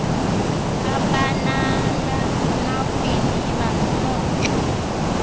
abanala makhwiniba noxa